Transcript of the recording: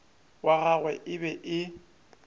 wa gagwe e be e